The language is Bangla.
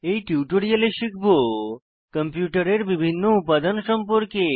এই টিউটোরিয়ালে শিখব কম্পিউটারের বিভিন্ন উপাদান সম্পর্কে